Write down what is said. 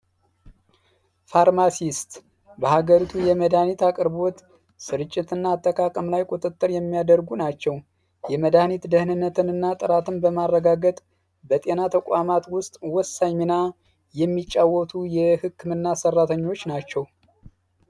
የፋርማሲስት የሀገሪቱ የመድኃኒት አቅርቦት ስርጭትና አጠቃቀም ላይ ቁጥጥር የሚያደርጉ ናቸው የመድኃኒት ጥራትንና ደህንነት በማረጋገጥ በተቋማት ውስጥ ወሳኝ ሚና የሚጫወቱ የህክምና ሠራተኞች ናቸው።